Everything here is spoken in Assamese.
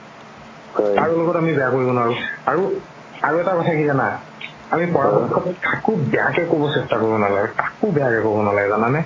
কাৰো লগত আমি বেয়া কৰিব নোৱাৰো আৰু, আৰু এটা কথা কি জানা আমি পৰা পক্ষত কাকো বেয়াকে ক'ব চেষ্টা কৰিব নালাগে কাকো বেয়া কে ক'ব নালাগে জানা নে